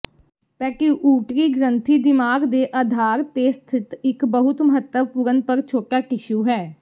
pituitary ਗ੍ਰੰਥੀ ਦਿਮਾਗ ਦੇ ਅਧਾਰ ਤੇ ਸਥਿਤ ਇੱਕ ਬਹੁਤ ਮਹੱਤਵਪੂਰਨ ਪਰ ਛੋਟਾ ਟਿਸ਼ੂ ਹੈ